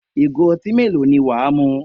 Ìgò ọtí mélòó ni wà á mu?